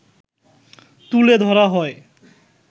তুলে ধরা হয়